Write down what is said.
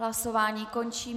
Hlasování končím.